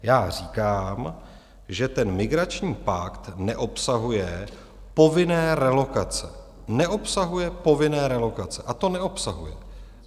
Já říkám, že ten migrační pakt neobsahuje povinné relokace, neobsahuje povinné relokace, a to neobsahuje.